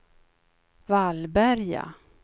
Vallberga